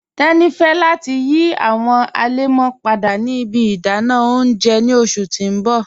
Teni fẹ̀ lati yí awọn alẹmọ́ padà ni ibi ìdànà ọ̀unjẹ ọ̀un ni ọṣù ti n bọ̀